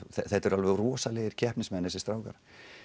þetta eru alveg rosalegir keppnismenn þessir strákar